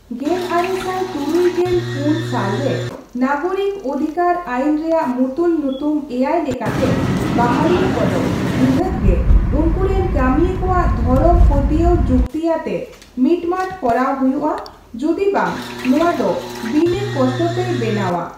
ᱜᱮᱞ ᱟᱨᱮ ᱥᱟᱭ ᱛᱩᱨᱩᱭ ᱜᱮᱞ ᱯᱩᱱ ᱥᱟᱞ ᱨᱮ ᱱᱟᱜᱚᱨᱤᱠ ᱚᱫᱷᱤᱠᱟᱨ ᱟᱭᱤᱱ ᱨᱮᱭᱟᱜ ᱢᱩᱛᱩᱞ ᱧᱩᱛᱩᱢ ᱮᱭᱟᱭ ᱞᱮᱠᱟᱛᱮ, ᱵᱟᱦᱟᱞᱤᱭᱟᱹ ᱠᱚᱫᱚ ᱱᱤᱦᱟᱹᱛ ᱜᱮ ᱩᱱᱠᱩ ᱨᱮᱱ ᱠᱟᱹᱢᱤᱭᱟᱹ ᱠᱚᱣᱟᱜ ᱫᱷᱚᱨᱚᱢ ᱯᱟᱹᱛᱭᱟᱹᱣ ᱡᱩᱠᱛᱤᱭᱟᱛᱮ ᱢᱤᱴᱢᱟᱴ ᱠᱚᱨᱟᱣ ᱦᱩᱭᱩᱜᱼᱟ ᱡᱩᱫᱤ ᱵᱟᱝ ᱱᱚᱣᱟ ᱫᱚ ᱵᱤᱱᱟᱹ ᱠᱚᱥᱴᱚ ᱛᱮᱭ ᱵᱮᱱᱟᱣᱟ ᱾